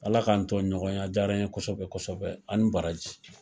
Ala k'an tO ɲɔgɔnya . A diyala n ye kɔsɛbɛ kɔsɛbɛ a ni baraji.